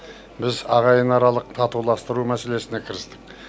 біз ағайынаралық татуластыру мәселесіне кірістік